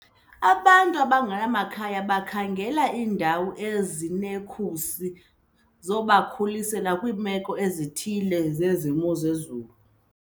Abantu abangenamakhaya bakhangela iindawo ezinekhusi zobakhusela kwiimeko ezithile zemozulu.